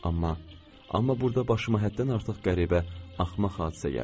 Amma, amma burda başıma həddən artıq qəribə, axmaq hadisə gəldi.